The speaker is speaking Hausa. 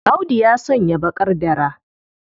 Audu ya sanya baƙar dara.